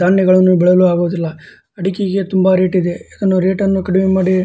ಧಾನ್ಯಗಳನ್ನು ಬೆಳೆಯಲು ಆಗುದಿಲ್ಲ ಅಡಿಕೆಗೆ ತುಂಬ ರೇಟಿದೆ ಇದನ್ನು ರೇಟನ್ನು ಕಡಿಮೆ ಮಾಡಿ --